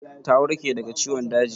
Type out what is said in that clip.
Ta warke daga ciwon daji?